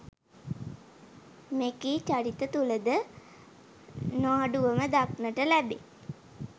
මෙකී චරිත තුළ ද නො අඩුව ම දක්නට ලැබේ